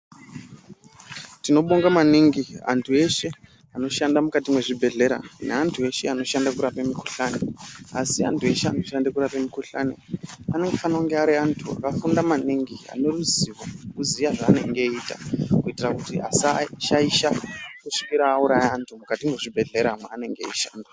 Tinobonga maningi antu eshe anoshanda mukati mwezvibhedhlera neantu eshe anoshanda kurape mikuhlani. Asi antu eshe anoshande kurape mukuhlani anofane kunge ariantu akafunde maningi aneruzivo rekuziya zvaanenge eiita. Kuitira kuti asashaisha kusvikira auraya vantu mukati mwezvibhedhlera mwanenge eishanda.